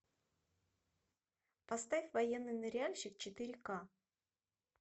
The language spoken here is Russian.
поставь военный ныряльщик четыре ка